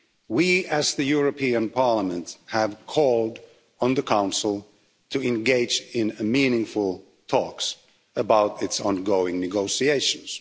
We, as the European Parliament, have called on the Council to engage in meaningful talks about its ongoing negotiations.